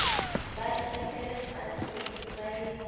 ba itahletse faatshe ba le